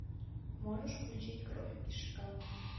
можешь включить кровь и шоколад